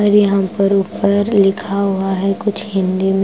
और यहां पर ऊपर लिखा हुआ है कुछ हिंदी में।